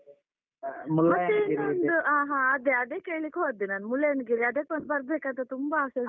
ಹ ಹ ಅದೇ ಅದೇ ಕೇಲಿಕ್ಕೆ ಹೊದ್ದು ನಾನು ಮುಳ್ಳಯ್ಯನಗಿರಿ ಅದಕ್ಕೊಂದು ಬರ್ಬೇಕು ಅಂತ ತುಂಬ ಆಸೆ ಉಂಟು.